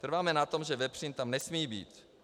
Trváme na tom, že vepřín tam nesmí být.